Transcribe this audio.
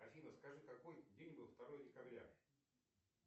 афина скажи какой день был второе декабря